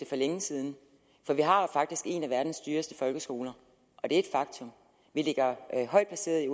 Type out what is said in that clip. for længe siden for vi har faktisk en af verdens dyreste folkeskoler og det er et faktum vi ligger højt placeret i